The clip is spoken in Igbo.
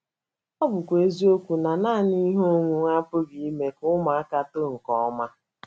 Ọ bụkwa eziokwu na nanị ihe onwunwe apụghị ime ka ụmụaka too nke ọma.